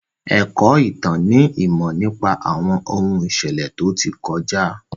Ẹ̀kọ́ ìtàn ni ìmọ̀ nípa àwọn ohun ìṣẹ̀lẹ̀ tó ti kọjá.